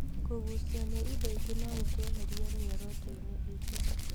Kũũgucio nĩ indo ingĩ no gũtũeherie mĩoroto-inĩ itũ.